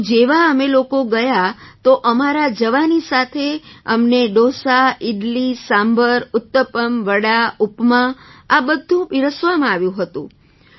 તો જેવા અમે લોકો ગયાં તો અમારા જવાની સાથે અમને ડોસા ઇડલી સાંભર ઉત્તપમ વડા ઉપમા આ બધું પીરસવામાં આવ્યું હતું